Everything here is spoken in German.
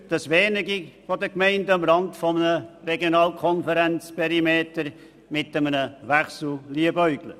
Ich bin überzeugt, dass wenige Gemeinden am Rande eines Regionalkonferenzperimeters mit einem Wechsel liebäugeln.